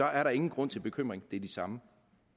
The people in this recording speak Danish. er der ingen grund til bekymring det er de samme